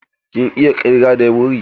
Kin iya ƙirga da wuri?